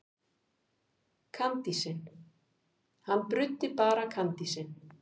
Hann bruddi bara kandísinn.